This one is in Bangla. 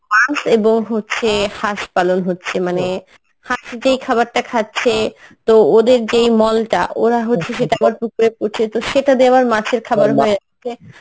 মাছ এবং হচ্ছে হাঁস পালন হচ্ছে মানে হাঁস যেই খাবারটা খাচ্ছে তো ওদের যেই মলটা ওরা হচ্ছে সেটা পুকুরে পরছে তো সেটা দিয়ে আবার মাছের খাবার হয়ে যাচ্ছে